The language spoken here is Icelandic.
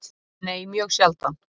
Nei, mjög sjaldan.